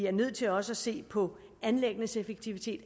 er nødt til også at se på anlæggenes effektivitet